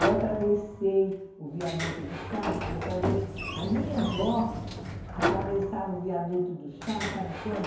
Eu atravessei o viaduto do chá, porque eu atrave a minha avó atravessava o viaduto do chá, sabe quando?